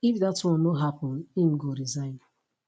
if dat one no happun im go resign